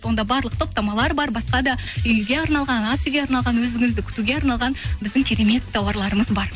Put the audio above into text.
онда барлық топтамалар бар басқа да үйге арналған ас үйге арналған өзіңізді күтуге арналған біздің керемет тауарларымыз бар